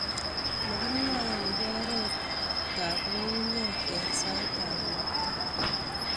magimwae agoba oret chebo nyungunyeek eng saitab ropta